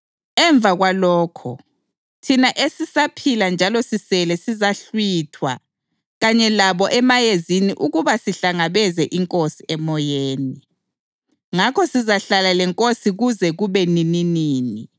Emva kwalokho, thina esisaphila njalo sisele sizahlwithwa kanye labo emayezini ukuba sihlangabeze iNkosi emoyeni. Ngakho sizahlala leNkosi kuze kube nininini.